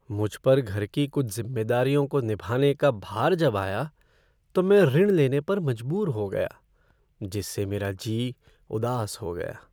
मुझ पर घर की कुछ जिम्मेदारियों को निभाने का भार जब आया तो मैं ऋण लेने पर मजबूर हो गया, जिससे मेरा जी उदास हो गया।